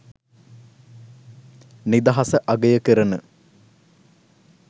නිදහස අගය කරන